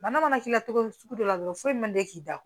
Bana mana k'i la cogo o cogo dɔ la dɔrɔn foyi man te k'i da